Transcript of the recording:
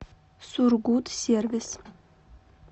сургутсервис